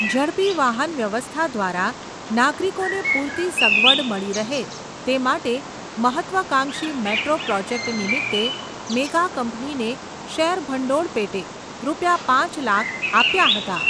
ઝડપી વાહનવ્યવસ્થા દ્વારા, નાગરિકોને પૂરતી સગવડ મળી રહે, તે માટે મહત્ત્વાકાંક્ષી મેટ્રો પ્રોજેક્ટ નિમિત્તે, મેગા કંપનીને શેરભંડોળ પેટે, રૂપિયા પાંચ લાખ આપ્યા હતાં.